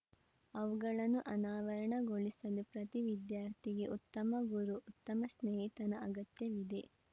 ಅವುಗಳನ್ನು ಅನಾವರಣಗೊಳಿಸಲು ಪ್ರತಿ ವಿದ್ಯಾರ್ಥಿಗೆ ಉತ್ತಮ ಗುರು ಉತ್ತಮ ಸ್ನೇಹಿತನ ಅಗತ್ಯವಿದೆ